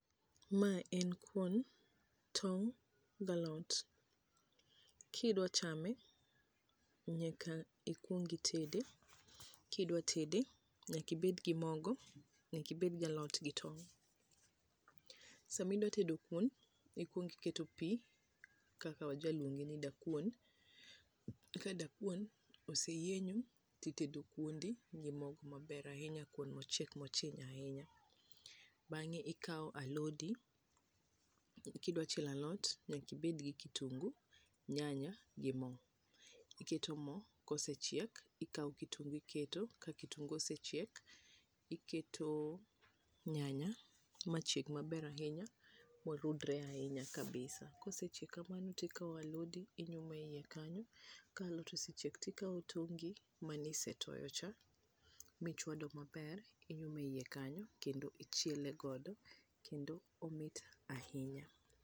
Ma en kuon, tong', gi alot. Kidwa chame, nyaka ikwong itede. Kidwa tede nyaka ibed gi mogo, nyaka ibed gi alot gi tong'. Sama idwa tedo kuon, ikwongo iketo pi, kaka wajaluonge ni dakuon. Ka dakuon oseyienyo to itedo kuondi gi mogo maber ahinya, mochiek mochiny ahinya. Bang'e ikawp alodi, kidwa chielo alot nyaka iber gi kitungu, nyanya gi mo. Iketo mo, kosechiek ikawo kitungu iketo, ka kitungu osechiek iketo nyanya machieg maber ahinya, ma orudore ahinya kabisa. Kosechiek kamano to ikawo alodi inyumo eiye kanyo. Ka alot osechiek to ikawo tongi manisetoyo cha, michwado maber, inyumo eiye kanyo, kendo ichiele godo, kendo omit ahinya.